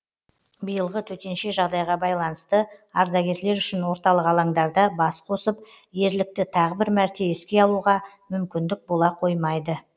биылғы төтенше жағдайға байланысты ардагерлер үшін орталық алаңдарда бас қосып ерлікті тағы бір мәрте еске алуға мүмкіндік бола қоймайды